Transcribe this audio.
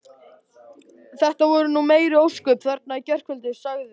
Þetta voru nú meiri ósköpin þarna í gærkvöldi sagði